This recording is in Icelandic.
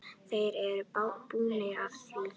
Þeir eru búnir að því.